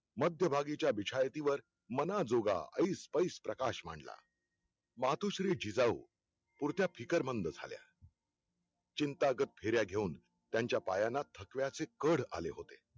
मध्यभागीच्या बिछायतीवर मनाजोगा अईस पईस प्रकाश मांडला मातोश्री जिजाऊ, पुरत्या फिकरमंद झाल्या चिंतागत फेऱ्या घेऊन, त्यांच्या पायांना थकव्याचें कढ आले होते.